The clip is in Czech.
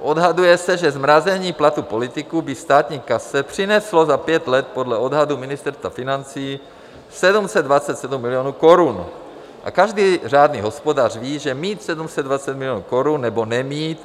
Odhaduje se, že zmrazením platů politiků by státní kase přineslo za pět let podle odhadů Ministerstva financí 727 milionů korun a každý řádný hospodář ví, že mít 727 milionů korun nebo nemít